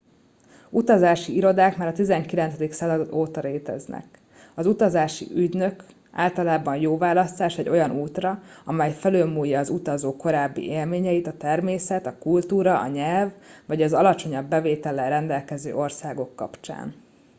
utazási irodák már a 19. század óta léteznek az utazási ügynök általában jó választás egy olyan útra amely felülmúlja az utazó korábbi élményeit a természet a kultúra a nyelv vagy az alacsonyabb bevétellel rendelkező országok kapcsán